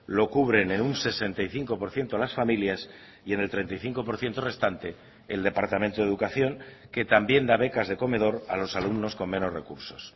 lo cubren en un sesenta y cinco por ciento las familias y en el treinta y cinco por ciento restante el departamento de educación que también da becas de comedor a los alumnos con menos recursos